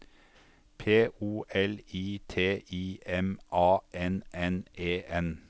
P O L I T I M A N N E N